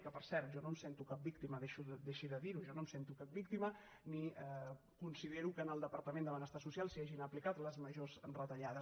que per cert jo no em sento cap víctima deixi de dirho jo no em sento cap víctima ni considero que en el departament de benestar social s’hagin aplicat les majors retallades